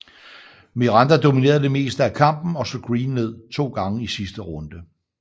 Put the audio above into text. Miranda dominerede det meste af kampen og slog Green ned to gange i sidste runde